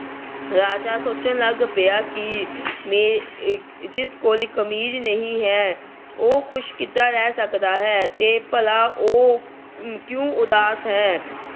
ਰਾਜਾ ਸੋਚਣ ਲੱਗ ਪਿਆ ਕਿ ਆਹ ਜਿਸ ਕੋਲ ਕਮੀਜ ਨਹੀਂ ਹੈ, ਉਹ ਖੁਸ਼ ਕਿਦਾਂ ਰਹਿ ਸਕਦਾ ਹੈ ਤੇ ਭਲਾ ਉਹ ਕਿਉਂ ਉਦਾਸ ਹੈ।